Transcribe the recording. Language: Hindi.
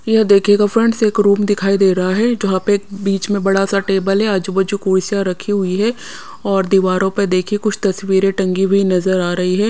यह देखिएगा फ्रेंड्स एक रूम दिखाई दे रहा है जहाँ पे बीच में बड़ा सा टेबल है आजू बाजू कुर्सियाँ रखी हुई है और दीवारों पर देखिए कुछ तस्वीरें टंगी हुई नजर आ रही है।